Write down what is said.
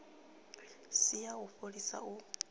si ya u fholisa u